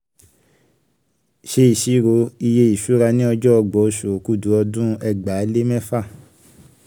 ṣe ìṣirò iye ìṣura ni ọjọ́ ọgbọ̀n oṣù okúdù ọdún ẹgbàá lé mẹ́fà.